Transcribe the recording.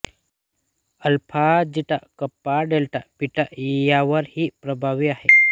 alpha zeta kappa delta beta यावर ही प्रभावी आहे